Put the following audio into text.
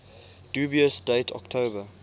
dubious date october